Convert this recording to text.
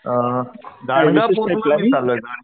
अ गाणगापूर च प्लँनिंग चालूये,